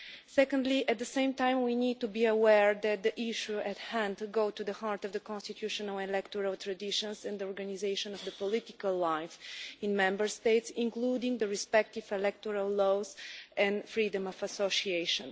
Secondly, at the same time we need to be aware that the issue at hand goes to the heart of the constitutional electoral traditions and the organisation of the political life in Member States, including the respective electoral laws and freedom of association.